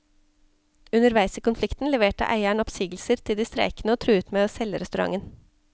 Underveis i konflikten leverte eieren oppsigelser til de streikende og truet med å selge restauranten.